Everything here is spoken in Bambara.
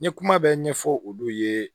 Ni kuma bɛ ɲɛfɔ olu ye